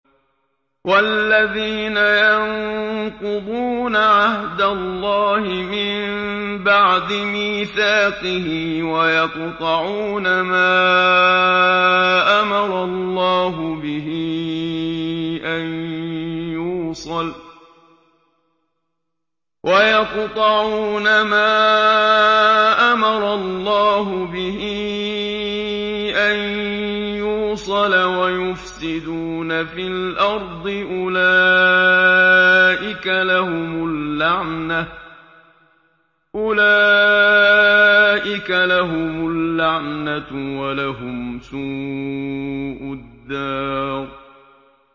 وَالَّذِينَ يَنقُضُونَ عَهْدَ اللَّهِ مِن بَعْدِ مِيثَاقِهِ وَيَقْطَعُونَ مَا أَمَرَ اللَّهُ بِهِ أَن يُوصَلَ وَيُفْسِدُونَ فِي الْأَرْضِ ۙ أُولَٰئِكَ لَهُمُ اللَّعْنَةُ وَلَهُمْ سُوءُ الدَّارِ